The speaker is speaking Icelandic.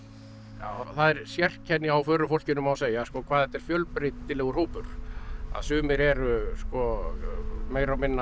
já það er sérkenni á förufólkinu má segja hvað þetta er fjölbreytilegur hópur að sumir eru sko meira og minna